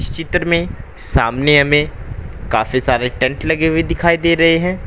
इस चित्र में सामने हमें काफी सारे टेंट लगे हुए दिखाई दे रहे हैं।